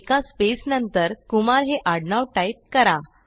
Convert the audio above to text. एका स्पेस नंतर कुमार हे आडनाव टाईप करा